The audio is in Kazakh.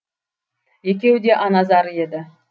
екеуі де ана зары еді